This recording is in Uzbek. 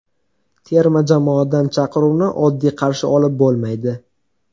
Terma jamoadan chaqiruvni oddiy qarshi olib bo‘lmaydi.